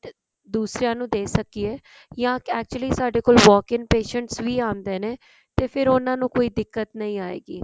ਦੂਸਰਿਆਂ ਨੂੰ ਦੇ ਸਕੀਏ ਯਾ actually ਸਾਡੇ ਕੋਲ walk in patient ਵੀ ਆਉਂਦੇ ਨੇ ਤੇ ਫ਼ੇਰ ਉਹਨਾ ਨੂੰ ਕੋਈ ਦਿੱਕਤ ਨੀ ਆਉਗੀ